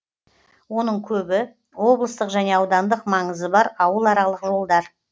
оның көбі облыстық және аудандық маңызы бар ауыл аралық жолдар